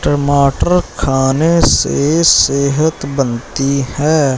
टमाटर खाने से सेहत बनती है।